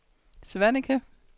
Svaneke